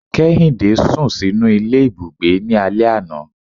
Kèhindé sún sinú ilé Ibúgbe ní alè aná